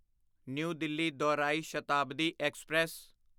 new Delhi ਦੌਰਾਈ Shatabdi express